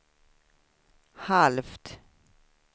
halvt